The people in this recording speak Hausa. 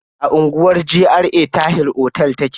A unguwar GRA Tahir otel take.